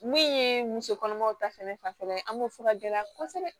Min ye musokɔnɔmaw ta fanfɛla ye an b'o fɔ ka gɛlɛya kosɛbɛ